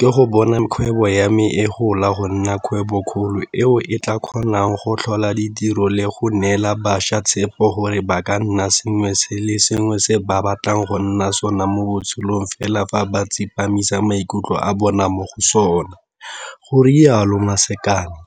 ke go bona kgwebo ya me e gola go nna kgwebokgolo eo e tla kgonang go tlhola ditiro le go neela bašwa tshepo gore ba ka nna sengwe le sengwe se ba batlang go nna sona mo botshelong fela fa ba tsepamisa maikutlo a bona mo go sona, go rialo Masakane.